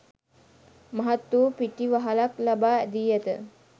මහත් වූ පිටිවහලක් ලබා දී ඇත.